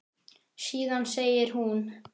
Síðan segir hún